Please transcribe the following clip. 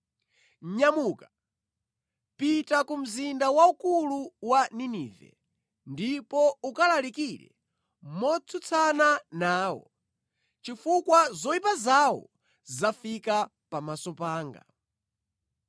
“Nyamuka, pita ku mzinda waukulu wa Ninive ndipo ukalalikire motsutsana nawo, chifukwa zoyipa zawo zafika pamaso panga.”